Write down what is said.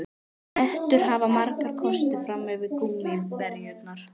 Hettur hafa marga kosti fram yfir gúmmíverjurnar.